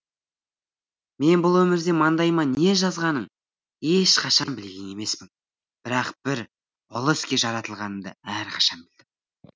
мен бұл өмірде маңдайыма не жазғанын ешқашан білген емеспін бірақ бір ұлы іске жаратылғанымды әрқашан білдім